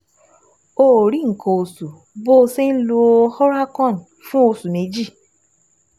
O ò rí nǹkan oṣù bó o ṣe ń lo Oralcon fún oṣù méjì